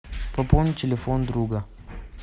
пополни телефон друга